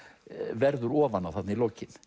verður ofan á þarna í lokin